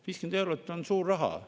50 eurot on suur raha.